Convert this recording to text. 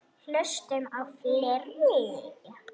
Hlustum á fleiri!